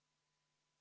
Mis seal kirjas on?